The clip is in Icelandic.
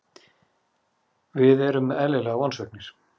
Við erum eðlilega vonsviknir.